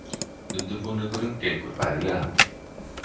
Undirbúningurinn gengur bærilega